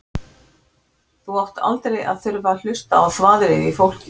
Þú átt aldrei að þurfa að hlusta á þvaðrið í fólki.